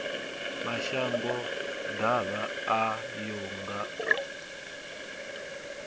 mashango ḓavha a yo ngo